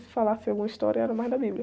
Se falasse alguma história, era mais da Bíblia.